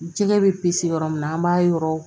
Jɛgɛ bɛ pise yɔrɔ min na an b'a yɔrɔ